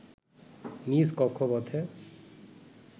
নিজ কক্ষপথে